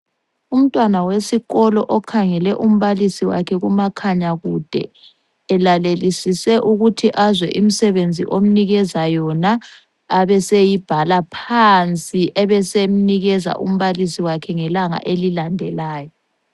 Umntwana wesikolo okhangele umbalisi wakhe kumakhanya kude elalelisise ukuthi azwe imisebenzi omnikeza yona abeseyibhala phansi ebesemnikeza umbalisi wakhe ngelanga elilandelayo.